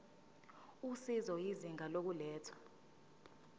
usizo izinga lokulethwa